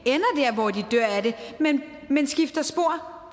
men skifter spor